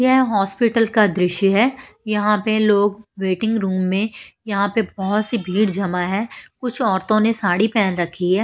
यह हॉस्पिटल का दृश्य है यहां पे लोग वेटिंग रूम में यहां पर बहुत सी भीड़ जमा है कुछ औरतों ने साड़ी पहन रखी है।